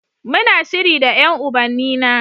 Muna shiri da ƴan ubannina.